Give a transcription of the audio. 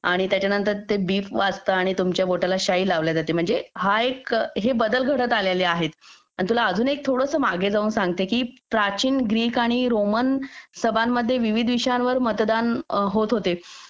आणि त्याच्यानंतर ते बीड वाजतं आणि तुमच्या बोटाला शाई लावली जाते हा एक हे बदल घडत आलेले आहे आणि तुला अजून एक थोडसं मागे जाऊन सांगते की प्राचीन ग्रीक आणि रोमन सभांमध्ये विविध विषयांवर मतदान होत होते